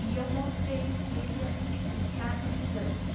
E eu montei com ele, a gente fez teatro de dança.